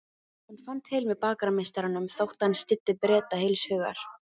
Hann fann til með bakarameistaranum þótt hann styddi Breta heilshugar.